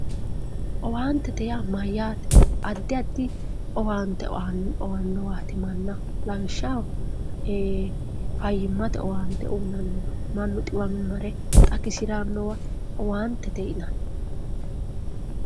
owaantete yaa mayyaate? addi addi owaante aannowaati mannaho lawishshaho ee fayyimmate owaante uyinanniwa mannaho mannu xiwimiro mare xagisirannowa owaantete yinanni.